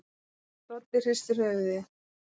Doddi hristir höfuðið.